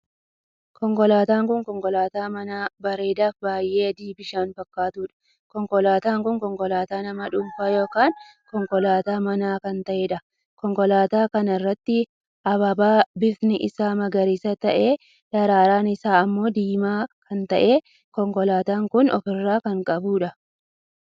Konkolaataan kun konkolaataa manaa bareedaa fi baay'ee adii bishaan fakkaattuudha. konkolaataan kun konkolaataa nama dhuunfaa ykn konkolaataa manaa kan taheedha. konkolaataa kana irratti ababaa bifti isaa magariisa tahee daraaraan isaa ammoo diimaa kan tahee konkolaataan kun of irraa kan qabuudha.